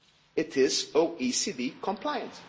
It is OECD compliant.